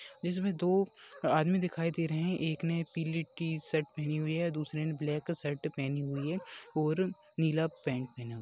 इसमें दो आदमी दिखाई दे रहे हैं एक ने पी-ली टीशर्ट पहनी हुई है दूसरे ब्लैक शर्ट पहनी हुई है और-- नीला पेंट पहना हुआ है।